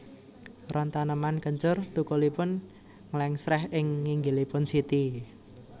Ron taneman kencur thukulipun nglèngsrèh ing nginggilipun siti